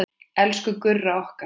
Elsku Gurra okkar.